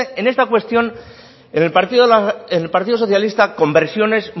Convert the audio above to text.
en esta cuestión en el partido socialista conversiones